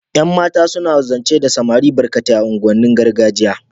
yan mata suna zance da samari barkate a unguwan nin gargajiya